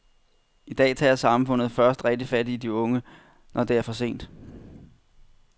I dag tager samfundet først rigtig fat i de unge, når det er for sent.